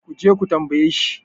ku je ku tambaye shi?